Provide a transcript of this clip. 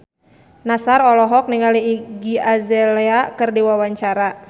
Nassar olohok ningali Iggy Azalea keur diwawancara